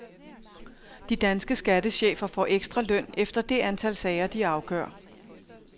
De danske skattechefer får ekstra løn efter det antal sager, de afgør.